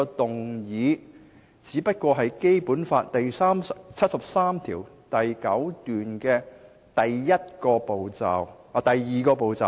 動議議案是《基本法》第七十三條第九項訂明的第二個步驟。